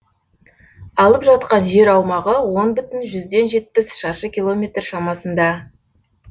алып жатқан жер аумағы он бүтін жүзден жетпіс шаршы километр шамасында